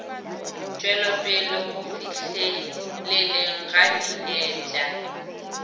tšwelopele go fihleleleng ga dinepša